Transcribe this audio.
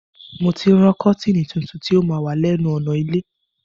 Mo ti ń rán kọ́tìnì tuntun ti ó ma wà lẹ́nu ọ̀nà ilé